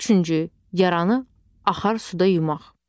Üçüncü, yaranı axar suda yumaq.